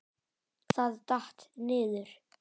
Það datt. niður.